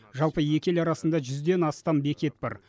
жалпы екі ел арасында жүзден астам бекет бар